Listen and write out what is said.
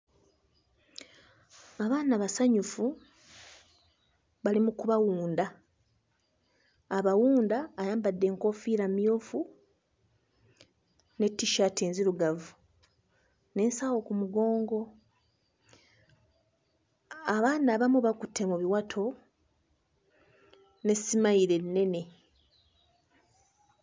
Abaana basanyufu bali mu kubawunda. Abawunda ayambadde enkoofiira mmyufu ne t-shirt nzirugavu n'ensawo ku mugongo. Abaana abamu bakutte mu biwato ne smile ennene.